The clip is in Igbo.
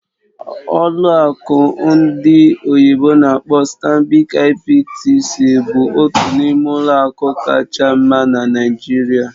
Ọlụ akụ ndị oyibo n'akpọ "StanbicIBTC" bụ otu n'ime ụlọ akụ kacha mma na Naịjirịa